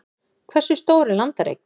hversu stór er landareign